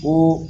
Ko